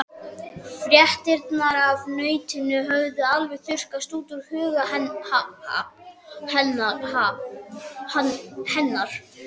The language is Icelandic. Fréttirnar af nautunum höfðu alveg þurrkast úr huga hennar.